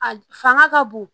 A fanga ka bon